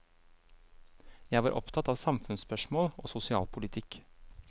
Jeg var opptatt av samfunnsspørsmål og sosialpolitikk.